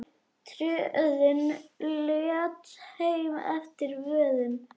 Tröðin létt heim eftir vöðin.